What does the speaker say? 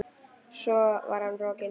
Svo var hann rokinn.